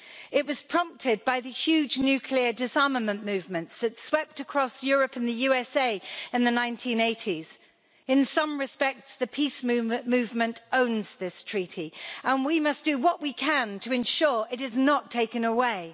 It was prompted by the huge nuclear disarmament movements that swept across Europe and the USA in the 1980s. In some respects, the peace movement owns this treaty, and we must do what we can to ensure it is not taken away.